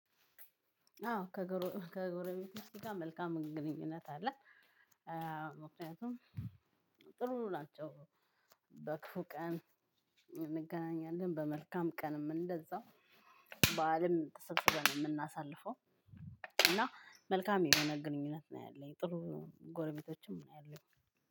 አዎ ከጎረቤቶቸ ጋር መልካም ግንኙነት አለ። ምክንያቱም ጥሩ ናቸው። በክፉ ቀን እንገናኛለን በመልካም ቀንም እንደዛው በዓልም ተሰብስበን የው እምናሳልፈው። እና መልካም የሆነ ግንኙነት ነው ያለኝ ጥሩ ጎረቤቶችም ነው ያለኝ።